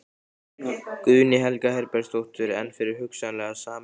Guðný Helga Herbertsdóttir: En fyrir hugsanlega sameiningu?